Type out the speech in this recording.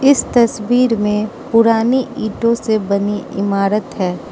इस तस्वीर में पुरानी ईटो से बनी इमारत है।